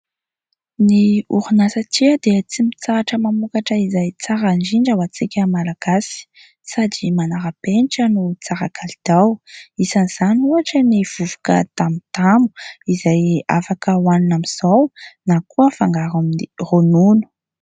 Ny orinasa "tiia" dia tsy mitsahatra mamokatra izay tsara indrindra ho antsika malagasy sady manara-penitra no tsara kalitao. Isan'izany ohatra ny vovoka tamotamo izay afaka hohanina amin'izao na hafangaro amin'ny ronono.